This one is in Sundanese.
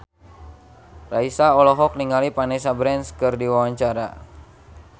Raisa olohok ningali Vanessa Branch keur diwawancara